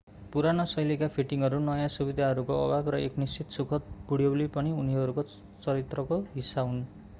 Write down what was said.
पुरानो शैलीका फिटिङहरू नयाँ सुविधाहरूको अभाव र एक निश्चित सुखद बुढ्यौली पनि उनीहरूको चरित्रको हिस्सा हुन्